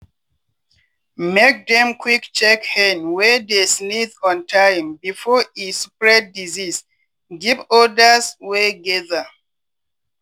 make dem quick check hen wey dey sneeze on time before e spread disease give odas wey gather.